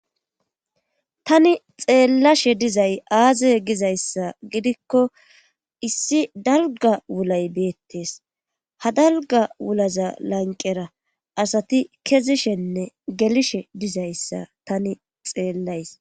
tani xeellashe dizay aaze gizayssa gidikko issi dalga wulay beettees ha dalga wulaza lanqera asati kezishenne gelishe dizayssa tani xeellays